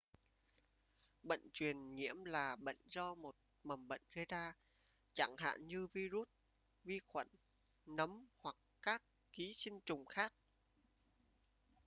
bệnh truyền nhiễm là bệnh do một mầm bệnh gây ra chẳng hạn như vi-rút vi khuẩn nấm hoặc các ký sinh trùng khác